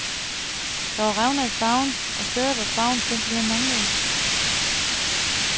Der var revner i farven, og steder hvor farven simpelthen manglede.